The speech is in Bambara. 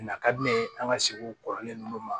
Na ka di ne ye an ka segu kɔrɔlen nunnu ma